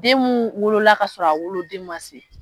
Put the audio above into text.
Den mun wolola kasɔrɔ a wolodon ma se